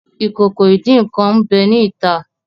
Ìkòkò ìdín-nǹkan n'be ni ita.